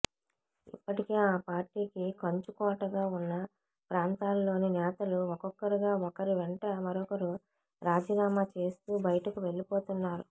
ఇప్పటికే ఆ పార్టీకి కంచుకోటగా ఉన్న ప్రాంతాల్లోని నేతలు ఒక్కొక్కరుగా ఒకరి వెంట మరొకరు రాజీనామా చేస్తూ బయటకు వెళ్లిపోతున్నారు